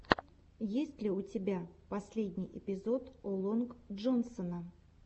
есть ли у тебя последний эпизод о лонг джонсона